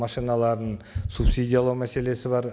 машиналарын субсидиялау мәселесі бар